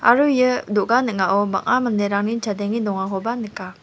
aro ia do·ga ning·ao bang·a manderangni chadenge dongakoba nika.